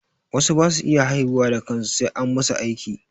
Wasu ba su iya haihuwa da kansu sai an masu aiki.